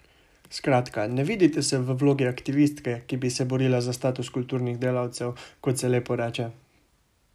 Skratka, ne vidite se v vlogi aktivistke, ki bi se borila za status kulturnih delavcev, kot se lepo reče?